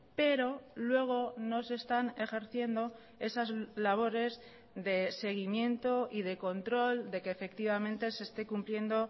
pero luego no se están ejerciendo esas labores de seguimiento y de control de que efectivamente se esté cumpliendo